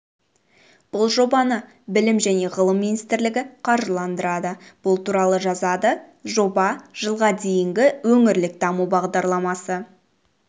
бұл жобаны білім және ғылым министрлігі қаржыландырады бұл туралы жазады жоба жылға дейінгі өңірлік даму бағдарламасы